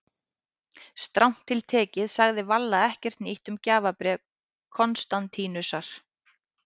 Strangt til tekið sagði Valla ekkert nýtt um gjafabréf Konstantínusar.